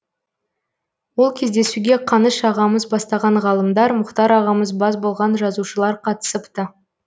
ол кездесуге қаныш ағамыз бастаған ғалымдар мұхтар ағамыз бас болған жазушылар қатысыпты